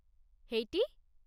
ହେଇଟି!